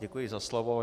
Děkuji za slovo.